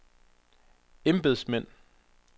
embedsmænd